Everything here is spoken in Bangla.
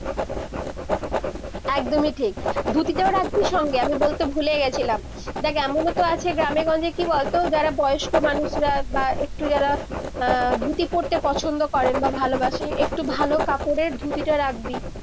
একদমী ঠিক ধুতি তাও রাখবি সঙ্গে আমি বলতে ভুলে গেছিলাম দেখ এমনো তো আছে গ্রামে গঞ্জে কি বল তো যারা বয়স্ক মানুষরা বা একটু যারা ধুতি পড়তে পছন্দ করেন বা ভালো বাসে একটু ভালো কাপড়ের ধুতি তা রাখবি-